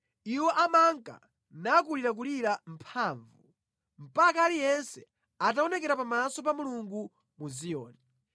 Iwo amanka nakulirakulira mphamvu mpaka aliyense ataonekera pamaso pa Mulungu mu Ziyoni.